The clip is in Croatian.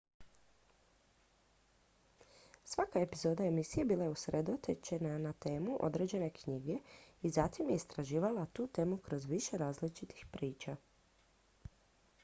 svaka epizoda emisije bila je usredotočena na temu određene knjige i zatim je istraživala tu temu kroz više različitih priča